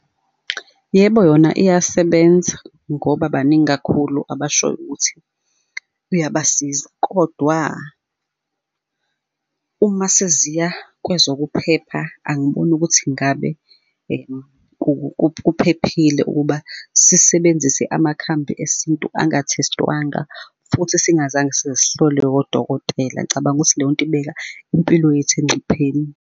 Yebo, yona iyasebenza ngoba baningi kakhulu abashoyo ukuthi iyabasiza. Kodwa, uma seziya kwezokuphepha angiboni ukuthi ngabe kuphephile ukuba sisebenzise amakhambi esintu angathestwanga futhi singazange size sihlolwe odokotela. Ngicabanga ukuthi leyonto ibeka impilo yethu engcupheni.